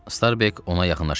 Starbek ona yaxınlaşıb dedi.